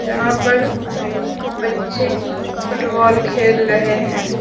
यहां पर बच्चे फुटबॉल खेल रहें हैं।